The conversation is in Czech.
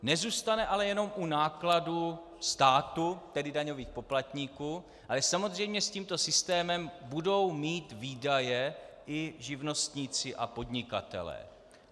Nezůstane ale jenom u nákladů státu, tedy daňových poplatníků, ale samozřejmě s tímto systémem budou mít výdaje i živnostníci a podnikatelé.